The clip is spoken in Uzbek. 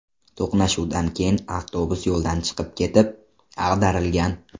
To‘qnashuvdan keyin avtobus yo‘ldan chiqib ketib, ag‘darilgan.